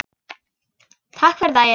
Takk fyrir daginn.